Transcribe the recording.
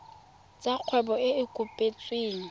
tsa kgwebo e e kopetsweng